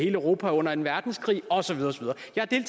europa under anden verdenskrig og så videre